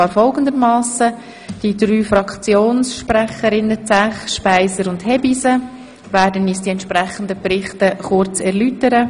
Die drei Kommissionssprecherinnen Frau Zäch, Frau Speiser und Frau Hebeisen werden uns die entsprechenden Berichte kurz erläutern.